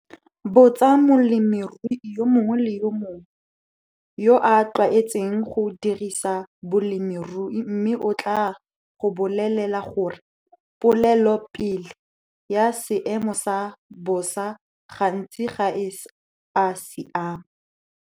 Botsa molemirui yo mongwe le yo mongwe yo a tlwaetseng go dirisa bolemirui mme o tlaa go bolela gore polelopele ya seemo sa bosa gantsi ga e a siama!